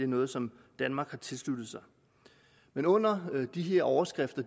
noget som danmark har tilsluttet sig men under de her overskrifter